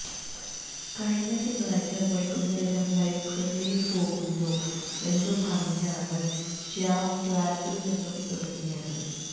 കഴിഞ്ഞ തിങ്കളാഴ്ച വൈകുന്നേരം ലൈബ്രറിയില് പോകുന്നു എന്നു പറഞ്ഞാണ് ശ്യാം ഫ്ളാറ്റില് നിന്നും ഇറങ്ങിയത്